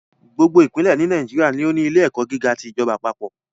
Gbogbo ìpínlẹ̀ ní Nàìjíríà ni ó ní ilé ẹ̀kọ́ gíga ti ìjọba àpapọ̀